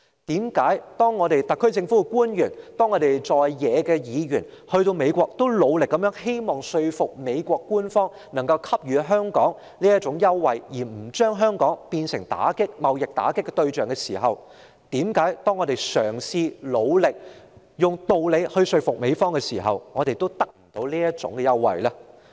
特區政府官員和在野議員曾在美國努力說服美國官員為香港提供優惠，不要把香港變為貿易打擊的對象，為何當我們努力嘗試以道理說服美國時，我們仍得不到這種優惠呢？